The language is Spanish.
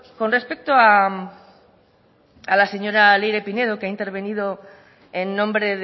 con respecto a la señora leire pinedo que ha intervenido en nombre